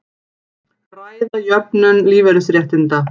Ræða jöfnun lífeyrisréttinda